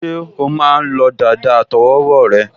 Ṣé o o máa lọ́ dàda àtọwọ́wọ́ rẹ?